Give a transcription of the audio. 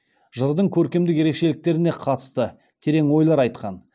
жырдың көркемдік ерекшеліктеріне катысты терен ойлар айткан